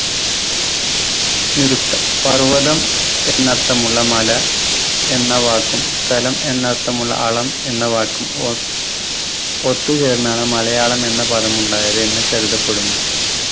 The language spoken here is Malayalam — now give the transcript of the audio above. നിരുത്തം പർവതം എന്നർത്ഥമുള്ള മല എന്ന വാക്കും സ്ഥലം എന്നർത്ഥമുള്ള അളം എന്ന വാക്കും ഓർ ഒത്തുചേർന്നാണ് മലയാളം എന്ന പദം ഉണ്ടായത് എന്ന് കരുതപ്പെടുന്നു.